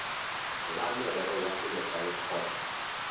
la merero ya selegae kgotsa